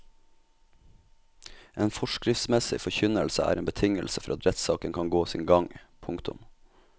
En forskriftsmessig forkynnelse er en betingelse for at rettssaken kan gå sin gang. punktum